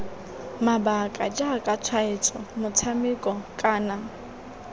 mabaka jaaka tshwaetso motshameko kana